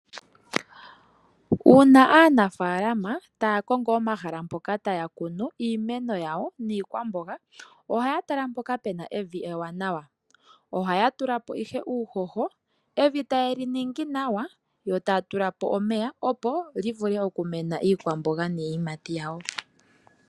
Uuna aanafaalama taa kongo omahala mpoka taya kunu iimeno yawo niikwamboga ohaya tala mpoka pe na evi ewanawa. Ohaya tula po ihe uuhoho, evi taye li ningi nawa yo ta ya tula po omeya, opo li vule okumena iikwamboga niiyimati yawo.